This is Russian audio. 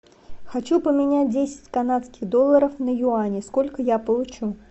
хочу поменять десять канадских долларов на юани сколько я получу